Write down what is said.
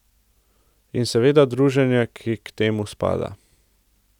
In seveda druženje, ki k temu spada.